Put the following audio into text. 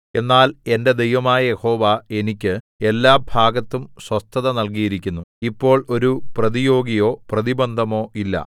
എന്നാൽ എന്റെ ദൈവമായ യഹോവ എനിക്ക് എല്ലാ ഭാഗത്തും സ്വസ്ഥത നൽകിയിരിക്കുന്നു ഇപ്പോൾ ഒരു പ്രതിയോഗിയോ പ്രതിബന്ധമോ ഇല്ല